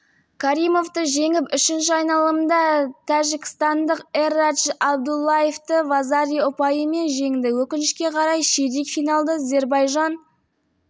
каримовты жеңіп үшінші айналымда тжікстандық эрадж абдуллаевты вазари ұпайымен жеңді өкінішке қарай ширек финалда зербайжан